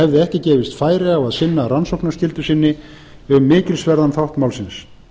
hafði ekki gefist færi á að sinna rannsóknarskyldu sinni um mikilsverðan þátt málsins